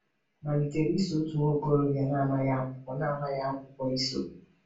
Malitere iso otu nwa okorobịa na-amaghị akwụkwọ na-amaghị akwụkwọ iso.